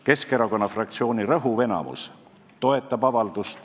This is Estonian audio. Keskerakonna fraktsiooni rõhuv enamus toetab avaldust.